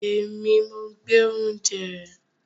Èmi, mo gbé oúnjẹ rẹ